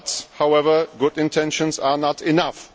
However, good intentions are not enough.